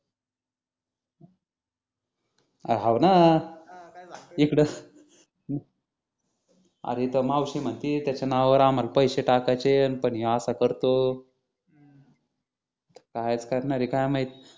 हाव न इकडं मावशी म्हणती त्याच्या नावावर आम्हाला पैसे टाकायचे ये अन हा असा करतो काय चं करणार ये काय माहित